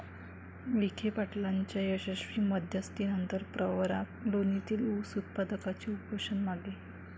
विखेपाटलांच्या यशस्वी मध्यस्थीनंतर प्रवरा लोणीतील ऊस उत्पादकांचे उपोषण मागे